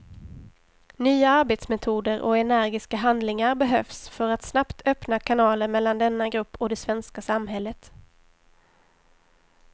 Nya arbetsmetoder och energiska handlingar behövs för att snabbt öppna kanaler mellan denna grupp och det svenska samhället.